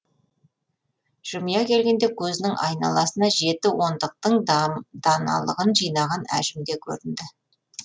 жымия келгенде көзінің айналасына жеті ондықтың даналығын жинаған әжім де көрінді